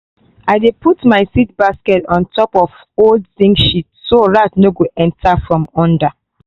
i dey put my seed basket on top old zinc sheet so rat no go enter from under